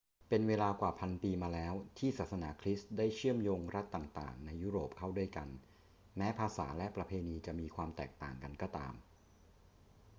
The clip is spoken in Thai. เป็นเวลากว่าพันปีมาแล้วที่ศาสนาคริสต์ได้เชื่อมโยงรัฐต่าง ๆ ในยุโรปเข้าด้วยกัน แม้ภาษาและประเพณีจะมีความแตกต่างกันก็ตาม